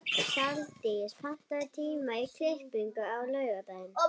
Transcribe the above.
Saldís, pantaðu tíma í klippingu á laugardaginn.